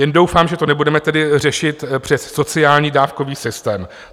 Jen doufám, že to nebudeme tedy řešit přes sociální dávkový systém.